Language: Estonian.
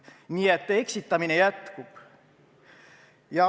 Nii et eksitamine jätkub.